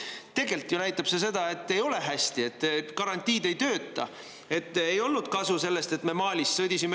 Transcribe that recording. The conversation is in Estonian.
Tegelikult ju näitab see seda, et ei ole hästi, et garantiid ei tööta, et ei olnud kasu sellest, et me Malis sõdisime.